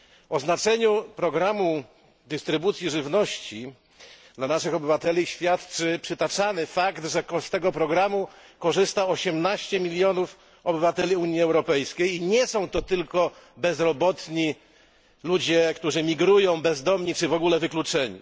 O znaczeniu programu dystrybucji żywności dla naszych obywateli świadczy przytaczany fakt, że z tego programu korzysta 18 milionów obywateli Unii Europejskiej i nie są to tylko bezrobotni, migranci, bezdomni czy w ogóle wykluczeni.